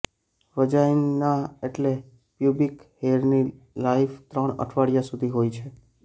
vagina એટલે pubic હેરની life ત્રણ અઠવાડિયા સુધીહોય છે